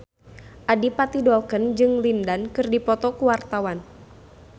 Adipati Dolken jeung Lin Dan keur dipoto ku wartawan